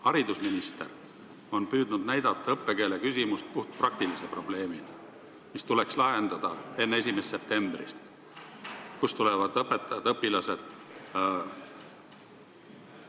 Haridusminister on püüdnud näidata õppekeele küsimust puhtpraktilise probleemina, mis tuleks lahendada enne 1. septembrit: kust tulevad õpetajad-õpilased?